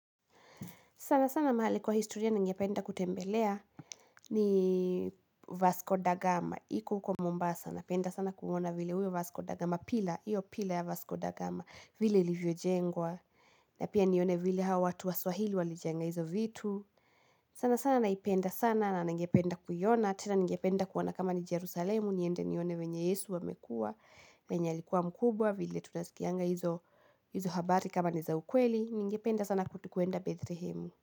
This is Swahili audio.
Sana sana mahali kwa historia ningependa kutembelea ni Vasco da Gama. Iko uko Mombasa napenda sana kumwona vile uyo Vasco da Gama pillar Iyo pillar ya Vasco da Gama vile ilivyo jengwa. Na pia nione vile hao watu Waswahili walijenga hizo vitu. Sana sana naipenda sana na ningependa kuiona. Tena ningependa kuona kama ni Jerusalemu. Niende nione wenye Yesu wamekua. Vienye alikuwa mkubwa vile tunazikianga hizo habari kama ni za ukweli. Ningependa sana kuenda Bethlehem.